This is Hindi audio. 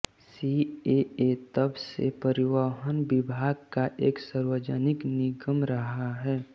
सीएए तब से परिवहन विभाग का एक सार्वजनिक निगम रहा है